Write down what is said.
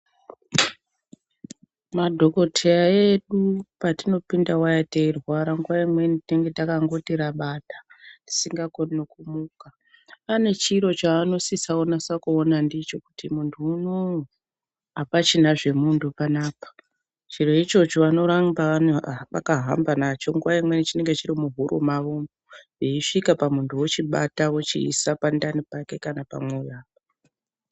Madhokodheya edu patinopinda waya teirwara nguwa imweni tinonga takangoti rabada tisngakoni kumuka pane chiro chaanosisa kuona ndicho kuti munhu uno apachina zvemunhu pana apa chiro ichocho vanoramaba vakahamba nacho nguwa imweni chinonga chiri muhuro mavo umu, eisvika pamunhu anochiisa pandani pake kana pamwoyo apa.